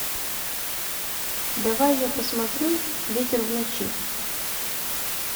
давай я посмотрю ветер в ночи